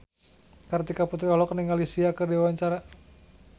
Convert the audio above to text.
Kartika Putri olohok ningali Sia keur diwawancara